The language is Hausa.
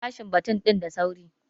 Bashi baton din da sauri!